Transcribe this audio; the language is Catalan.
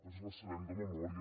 ens la sabem de memòria